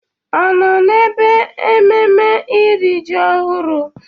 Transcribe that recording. Ọ nọ n'ebe ememme iri ji ọhụrụ?